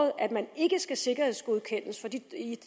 at man ikke skal sikkerhedsgodkendes